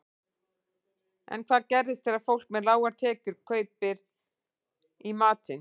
En hvað gerist þegar fólk með lágar tekjur kaupir í matinn?